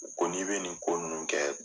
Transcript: U ko n'i bɛ nin ko ninnu kɛ